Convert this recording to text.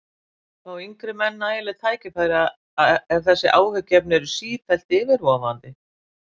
Fá yngri menn nægileg tækifæri ef þessi áhyggjuefni eru sífellt yfirvofandi?